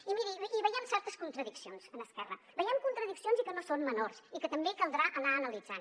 i miri veiem certes contradiccions en esquerra veiem contradiccions i que no són menors i que també caldrà anar analitzant